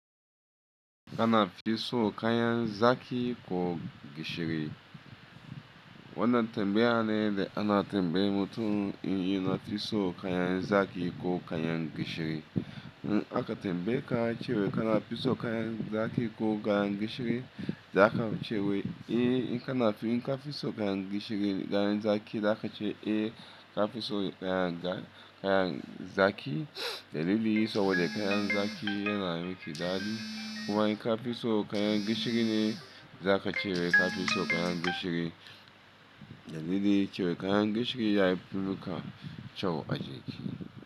Kana fiso kayan zaki ko gishiri. Wannan tambaya ne da ana tambayar mutum in ya na fiso kayan zaki ko kayan gishiri. In aka tambaye ka cewa kana fiso kayan zaki ko kayan gishiri, za ka ce wai eh, in kana fin ka fiso kayan gishiri da kayan zaki, za ka ce eh, ka fiso kayan kayan zaki. Dalili saboda kayan zaki yana miki dadi. Kuma in kafiso kayan gishiri ne zakace kafiso kayan gishiri dalili cewa kayan gishiri ya fi maka, kyau a jiki.